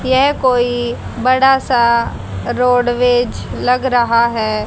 यह कोई बड़ा सा रोडवेज लग रहा है।